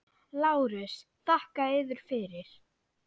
LÁRUS: Þakka yður fyrir.